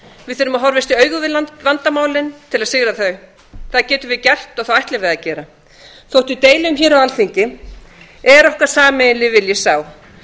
við þurfum að horfast í augu við vandamálin til að sigra þau það getum við gert og það ætlum við að gera þó við deilum á alþingi er okkar sameiginlegi vilji sá að